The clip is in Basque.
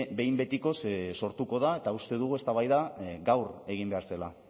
behin betikoz sortuko da eta uste dugu eztabaida gaur egin behar zela